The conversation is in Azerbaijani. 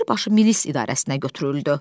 Birbaşa milis idarəsinə götürüldü.